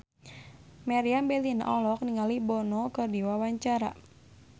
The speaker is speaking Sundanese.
Meriam Bellina olohok ningali Bono keur diwawancara